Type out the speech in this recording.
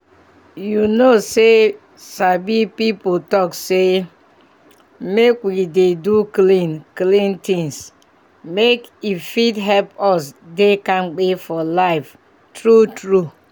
you know say sabi people talk say make we dey do clean clean things make e fit help us dey kampe for life true true